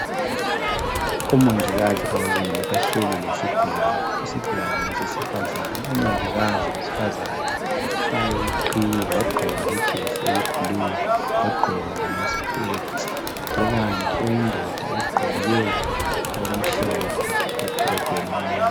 Omongikazi ababili bahleli lesigulane. Isigulane ngesesifazana. Umongikazi wesifazana ufake iqhiye, wagqoka lejesi eyiblue. Wagqoka lamaspecks. Kukanti oyindoda ugqoke okumhlophe, lebhurugwe elimnyama.